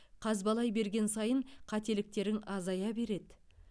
қазбалай берген сайын қателіктерің азая береді